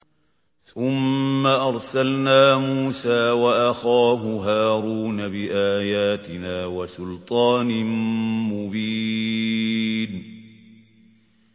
ثُمَّ أَرْسَلْنَا مُوسَىٰ وَأَخَاهُ هَارُونَ بِآيَاتِنَا وَسُلْطَانٍ مُّبِينٍ